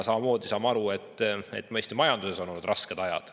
Samamoodi saame aru, et Eesti majandusel on olnud rasked ajad.